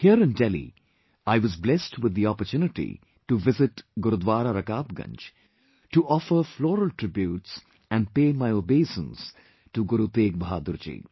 Here in Delhi, I was blessed with the opportunity to visit Gurudwara Rakabganj to offer floral tributes and pay my obeisance to Guru Tegh Bahadurji